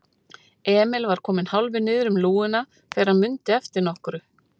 Emil var kominn hálfur niður um lúguna þegar hann mundi eftir nokkru.